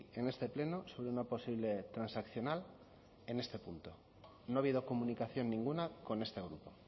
en este pleno sobre una posible transaccional en este punto no ha habido comunicación ninguna con este grupo